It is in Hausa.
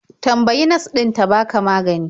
Tambayi nas ɗin ta baka magani.